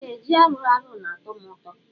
Ee ji aruarụ na atọm ụtọ.